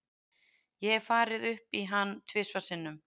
Ég hef farið upp í hann tvisvar sinnum.